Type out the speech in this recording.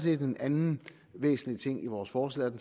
en anden væsentlig ting i vores forslag for